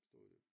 Stod det